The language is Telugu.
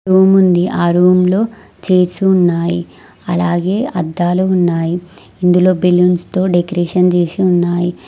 రూముంది ఆ రూమ్ లో చేర్సు ఉన్నాయి అలాగే అద్దాలు ఉన్నాయి ఇందులో బెలూన్స్ తో డెకరేషన్ జేసి ఉన్నాయి.